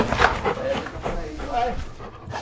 É esse que é por aí que vai.